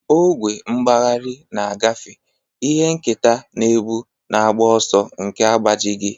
Ogwe mgbagharị na-agafe, ihe nketa na-ebu, na agbụ ọsọ nke agbajighị.